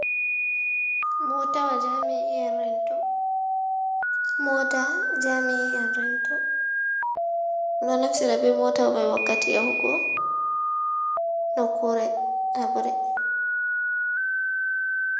Motawa jaami'in rento, ɗo naftira be moota mai wakkati yahugo nokkure habre.